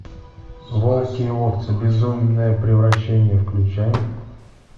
волки и овцы безумное превращение включай